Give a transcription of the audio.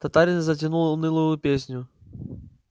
татарин затянул унылую песню